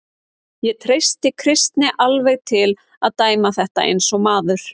Ég treysti Kristni alveg til að dæma þetta eins og maður.